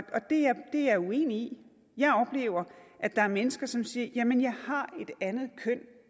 det er jeg uenig i jeg oplever at der er mennesker som siger jamen jeg har et andet køn